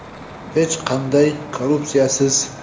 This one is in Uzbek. Hech qanday korrupsiyasiz.